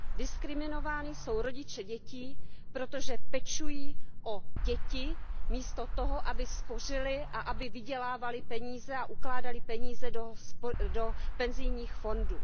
Diskriminováni jsou rodiče dětí, protože pečují o děti místo toho, aby spořili a aby vydělávali peníze a ukládali peníze do penzijních fondů.